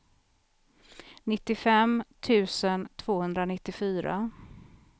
nittiofem tusen tvåhundranittiofyra